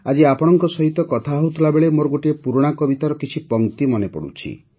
ଆଜି ଆପଣଙ୍କ ସହିତ କଥା ହେଉଥିବାବେଳେ ମୋର ଗୋଟିଏ ପୁରୁଣା କବିତାର କିଛି ପଂକ୍ତି ମନେ ପଡ଼ୁଛି